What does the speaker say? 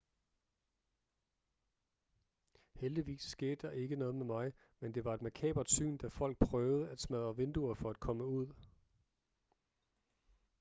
heldigvis skete der ikke noget med mig men det var et makabert syn da folk prøvede at smadre vinduer for at komme ud